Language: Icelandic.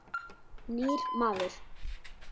Nýr maður.